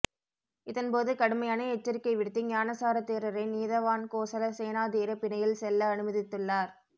இதன் போது கடுமையான எச்சரிக்கை விடுத்து ஞானசார தேரரை நீதவான் கோசல சேனாதீர பிணையில் செல்ல அனுமதித்துள்ளார்